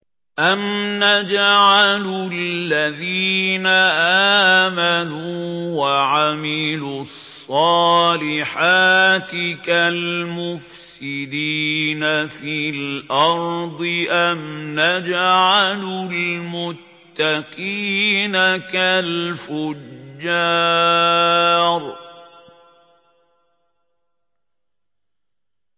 أَمْ نَجْعَلُ الَّذِينَ آمَنُوا وَعَمِلُوا الصَّالِحَاتِ كَالْمُفْسِدِينَ فِي الْأَرْضِ أَمْ نَجْعَلُ الْمُتَّقِينَ كَالْفُجَّارِ